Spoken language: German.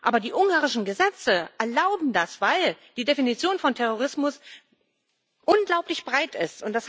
Aber die ungarischen Gesetze erlauben das, weil die Definition von Terrorismus unglaublich breit ist.